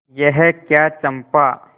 यह क्या चंपा